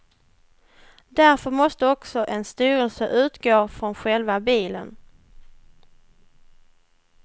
Därför måste också en styrelse utgå från själva bilen.